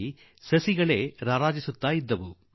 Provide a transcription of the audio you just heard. ನನಗೆ ಸೋಜಿಗ ಉಂಟಾಯಿತು